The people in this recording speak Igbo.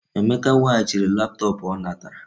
Emeka weghachiri laptop o natara.